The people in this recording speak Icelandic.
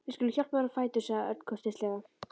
Við skulum hjálpa þér á fætur sagði Örn kurteislega.